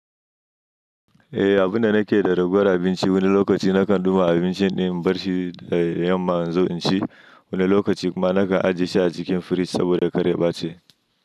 Eh, abunda nake da ragowar abinci wani lokaci nakan duba abincin din in barshi da yamma in zo in ci, wani lokaci kuma nakan ajiye shi a cikin fridge saboda karya bace.